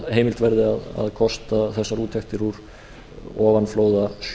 heimilt verði að kosta þessar úttektir úr ofanflóðasjóði og